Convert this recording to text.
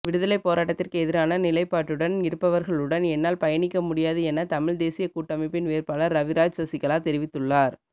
விடுதலைப்போராட்டத்திற்கு எதிரான நிலைப்பாட்டுன் இருப்பவர்களுடன் என்னால் பயணிக்க முடியாது என தமிழ்தேசிய கூட்டமைப்பின் வேட்பாளர் ரவிராஜ் சசிகலா தெரிவித்துள்ளார்